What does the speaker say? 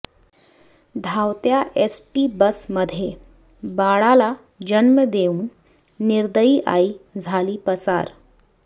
धावत्या एसटी बसमध्ये बाळाला जन्म देऊन निर्दयी आई झाली पसार